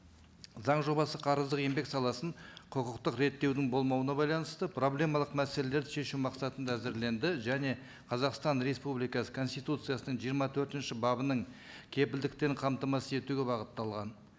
заң жобасы қарыздық еңбек саласын құқықтық реттеудің болмауына байланысты проблемалық мәселелерді шешу мақсатында әзірленді және қазақстан республикасы конституциясының жиырма төртінші бабының кепілдіктен қамтамасыз етуге бағытталған